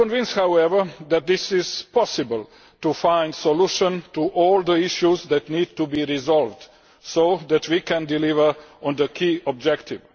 I am convinced, however, that it is possible to find a solution to all the issues that need to be resolved, so that we can deliver on the key objective.